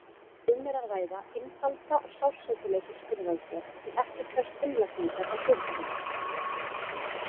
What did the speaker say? Um er að ræða einfalda og sársaukalausa skurðaðgerð sem ekki krefst innlagningar á sjúkrahús.